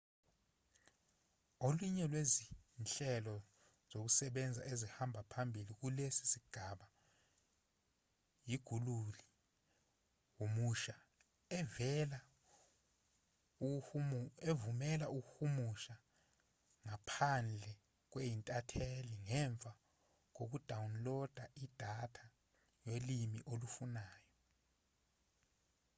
olunye lwezinhlelo zokusebenza ezihamba phambili kulesi sigaba yi-guguli humusha evumela ukuhumusha ngaphandle kwe-inthanethi ngemva kokudawuniloda idatha yolimi olufunwayo